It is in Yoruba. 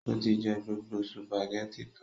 Ó tí jẹ gbogbo spàgẹ́ti tán.